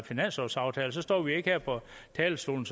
finanslovsaftale og så står vi ikke her på talerstolen